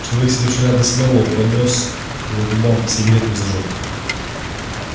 человек сидевший рядом с мэллоу поднёс к его губам сигарету и зажёг